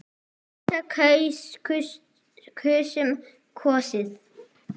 kjósa- kaus- kusum- kosið